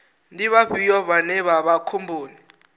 ndi vhafhio vhane vha vha khomboni